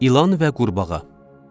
İlan və Qurbağa.